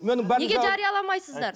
неге жарияламайсыздар